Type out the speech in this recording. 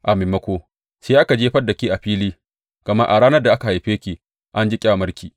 A maimako, sai aka jefar da ke a fili, gama a ranar da aka haife ki an ji ƙyamarki.